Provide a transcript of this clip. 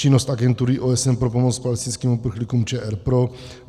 Činnost Agentury OSN pro pomoc palestinským uprchlíkům - ČR pro.